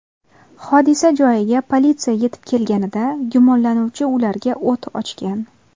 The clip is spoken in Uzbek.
Hodisa joyiga politsiya yetib kelganida gumonlanuvchi ularga o‘t ochgan.